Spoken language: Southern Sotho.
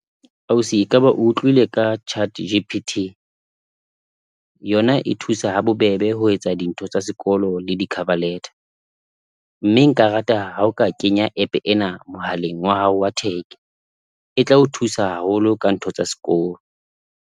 Ausi ekaba o utlwile ka ChatGPT yona e thusa ha bobebe ho etsa dintho tsa sekolo le di-cover letter, mme nka rata ha o ka kenya app-e ena mohaleng wa hao wa tech e tla o thusa haholo ka ntho tsa sekolo.